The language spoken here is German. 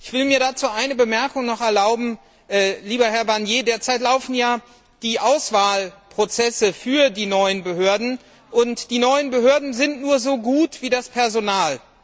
Ich will mir dazu noch eine Bemerkung erlauben Lieber Herr Barnier, derzeit laufen ja die Auswahlverfahren für die neuen Behörden, und die neuen Behörden sind nur so gut wie das Personal.